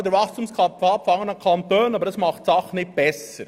Diese Zunahme gibt es in allen Kantonen, aber das macht die Sache nicht besser.